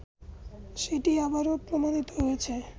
সেটি আবারও প্রমাণিত হয়েছে